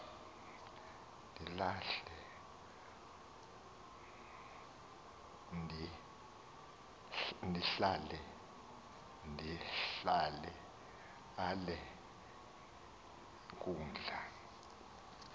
ndihlale ale nkundla